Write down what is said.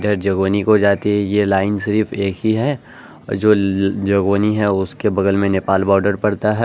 इधर जोगबानी को जाती है ये लाइन्स सिर्फ एक ही है और जो जोगबानी है उसके बगल में नेपाल बॉर्डर पड़ता है।